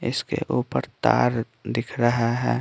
इसके ऊपर तार दिख रहा है।